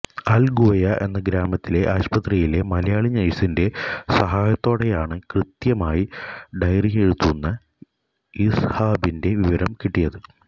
അൽഗുവയ്യ എന്ന ഗ്രാമത്തിലെ ആശുപത്രിയിലെ മലയാളി നഴ്സിന്റെ സഹായത്തോടെയാണ് കൃത്യമായി ഡയറിയെഴുതുന്ന ഇസ്ഹാഖിന്റെ വിവരം കിട്ടിയത്